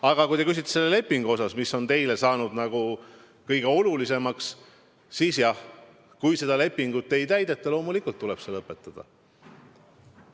Aga kui te küsite selle lepingu kohta, mis on teile saanud nagu kõige olulisemaks küsimuseks, siis jah, kui seda lepingut ei täideta, siis loomulikult tuleb see lõpetada.